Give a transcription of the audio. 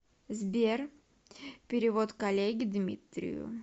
сбер перевод коллеге дмитрию